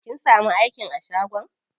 Kin samu aikin a shagon?